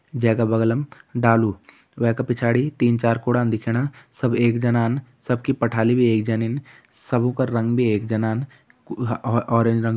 जैका बग्लम डालू वै का पिछाड़ी तीन चार कुड़ान दिखेणा सब एक जनान सब की पठाली भी एक जनिन सब कु रंग भी एक जनान और ह-ह ऑरेंज रंग --